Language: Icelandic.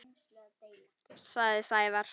sagði Sævar.